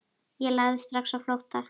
Ég lagði strax á flótta.